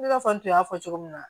I n'a fɔ n tun y'a fɔ cogo min na